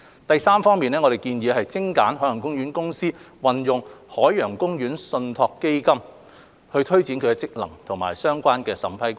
第三，我們建議精簡海洋公園公司運用海洋公園信託基金推展其職能的相關審批過程。